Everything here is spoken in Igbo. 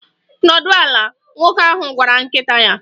Nọdụ ala, nwoke ahụ gwara nkịta ya.